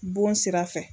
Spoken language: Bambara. Bon sira fɛ